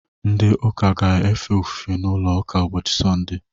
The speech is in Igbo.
Ndị ụka ga-efe ofufe n’ụlọ ụka ụbọchị Sọnde